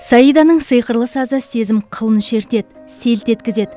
саиданың сиқырлы сазы сезім қылын шертеді селт еткізеді